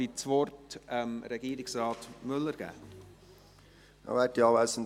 Dann hat Regierungsrat Müller das Wort.